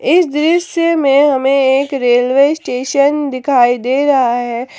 इस दृश्य में हमे एक रेलवे स्टेशन दिखाई दे रहा है।